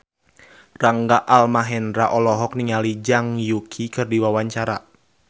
Rangga Almahendra olohok ningali Zhang Yuqi keur diwawancara